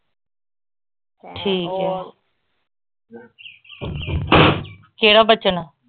ਠੀਕ ਆ ਕਿਹੜਾ ਬੱਚਨ?